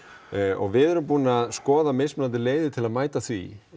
og við erum búin að skoða mismunandi leiðir til að mæta því